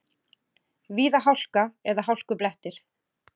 Víða hálka eða hálkublettir